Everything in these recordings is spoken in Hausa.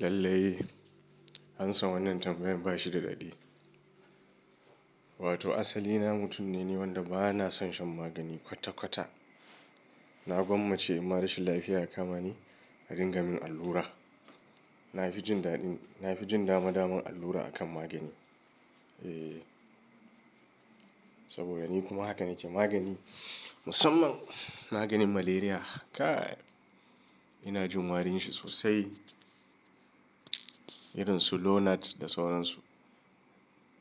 Lallai, an san wannan tambayan ba shi da daɗi. Wato asali na mutum ne wanda ba na son shan magani kwata kwata. Na gwammace in ma rashin lafiya ya kama ni a dingamin allura. Na fi jin daɗin, na fi jin dama dama allura akan magani. Eh, saboda ni kuma hakan ne ke magani, musamman maganin malaria. Kai! Ina jin warin shi sosai. Irin su Lonart da sauran su.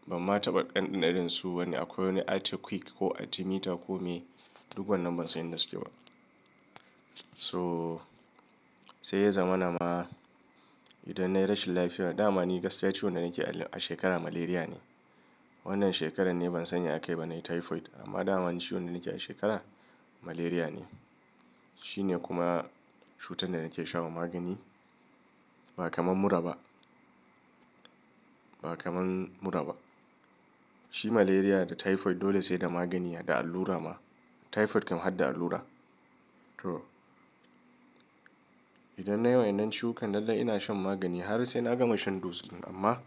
Ban mata ba ɗanɗanon irin su wani akwai wani Artekwik ko Artimita kome. Duk wannan ban san inda suke ba. So, sai ya zama na ma idan na yi rashin lafiya, dama ni gaskiya ciwon da nake a shekara malaria ne. Wannan shekarar ne ban sani ya kai ba na yi typhoid, amma dama ni ciwon da nake a shekara malaria ne. Shi ne kuma cutar da nake sha wa magani. Ba kaman muraba. Ba kamar muraba. Shi malaria da typhoid dole sai da magani da allura ma. Typhoid kam hadda allura. Toh, idan na yi wa'inan ciwukan lallai ina shan magani har sai na gama shan dose ɗin amma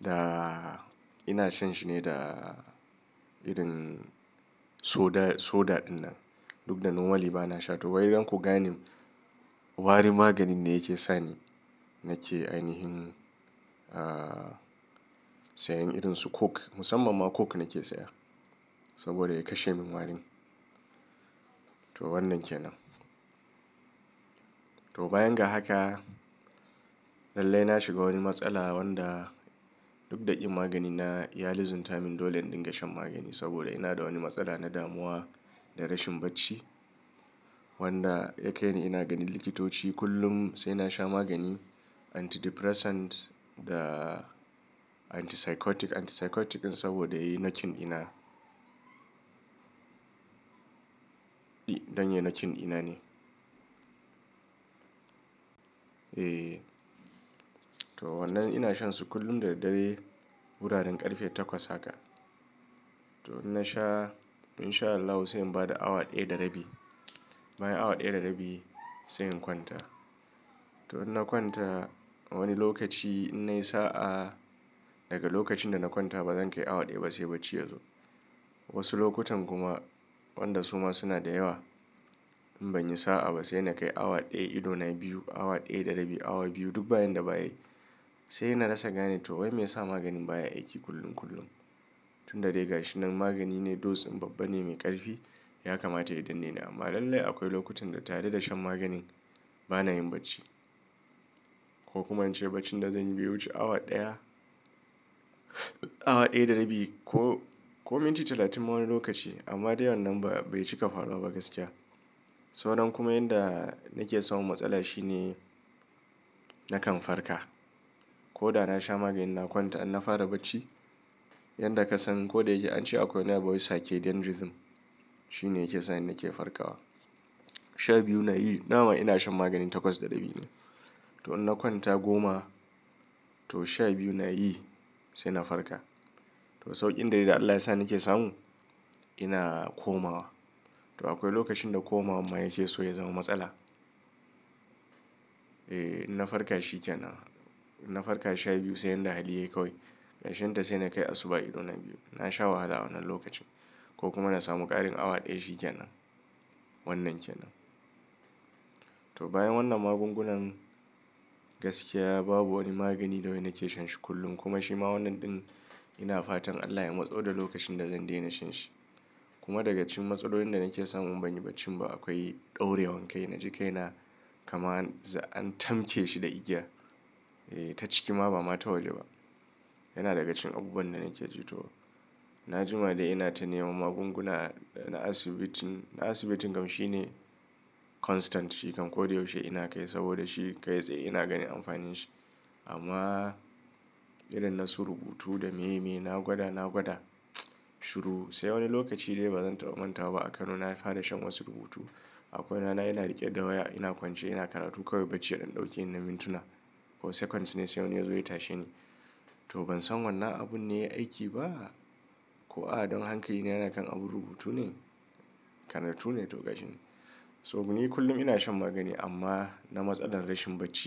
da ina shan shi ne da irin soda, soda ɗinnan. Duk da noma li ba na sha to wai don ku gane wari maganin ne yake sani nake ainihin, ah, sayan irin su coke. Musammman ma coke nake saya saboda ya kashe min warin. To wannan ke nan. To bayan ga haka lallai na shiga wani matsala wanda duk da yin magani na ya lizzinta min dole in dinga shan magani saboda ina da wani matsala na damuwa da rashin bacci wanda ya kai ni ina ganin likitoci kullum sai na sha maganin antidepressant da antipsychotic. Antipsychotic din saboda ya yi nakin ina. Don ya nakin dina ne. E, toh wannan ina shan su kullum da da dare wuraren ƙarfe takwas haka. Toh in na sha, in sha Allahu sai in bada awa ɗaya da rabi. Bayan awa ɗaya da rabi sai in kwanta. Toh in na kwanta wani lokaci in na yi sa'a daga lokacin da na kwanta bazan kai awa ɗaya ba sai bacci yazo. Wasu lokutan kuma wanda suma suna da yawa in ban yi sa'a ba sai na kai awa ɗaya idona biyu, awa ɗaya da rabi, awa biyu duk bayan da ba yi. Sai na rasa gane toh wai me yasa maganin baya aiki kullum kullum. Tun da dai gashinan magani ne dose din babba ne mai ƙarfi ya kamata ya danne ni amma lallai akwai lokutan da tare da shan maganin bana yin bacci. Ko kuma in ce baccin da zan yi ya wuce awa ɗaya, awa ɗaya da rabi ko, ko minti talatin ma wani lokaci amma dai wannan ba, bai cika faruwa ba gaskiya. Sauran kuma yanda nake samun matsala shine nakan farka. Ko da na sha maganin na kwanta in na fara bacci, yanda ka san ko da yake an ce akwai na boyisake dendrism shi ne yake sa ni nake farkawa. Sha biyu na yi, dama ina shan maganin takwas da rabi ne. To in na kwanta goma to sha biyu na yi sai na farka. Toh sauƙin da dai da Allah ya sa nake samu ina komawa. Toh akwai lokacin da komawa ma yake so ya zama matsala. E, in na farka shikenan. In na farka sha biyu sai yanda hali yayi kawai ƙarshen ta sai na kai asuba idona biyu. Na sha wahala a wannan lokacin ko kuma na samu ƙarin awa ɗaya shikenan. Wannan ke nan. Toh bayan wannan magungunan gaskiya babu wani magani da wai nake shan shi kullum kuma shi ma wannan din ina fatan Allah ya matso da lokacin da zan daina shan shi. Kuma daga cikin matsalolin da nake samu in ban yi bacci ba akwai daure wankai. Na ji kai na kama an tamke shi da igiya. E, ta ciki ma ba mata waje ba. Yana daga cikin abubuwan da nake ji toh. Na jima dai ina ta neman magunguna na asibitin, na asibitin kam shi ne constant shi kam ko da yaushe ina kai saboda shi kai sai ina ganin amfanin shi. Amma irin na su rubutu da me me na gwada, na gwada shuru sai wani lokaci dai bazan taɓa mantawa ba a Kano na fara shan wasu rubutu. Akwai rana ina riƙe da waya ina kwance ina karatu kawai bacci ya dan ɗauke ni na mintuna ko seconds ne sai wani ya zo ya tashe ni. Toh ban san wannan abun ne ya aiki ba ko a don hankali na yana kan abun rubutu ne. Karatu ne toh gashinan. Domin ni kullum ina shan magani amma na matsalar rashin bacci.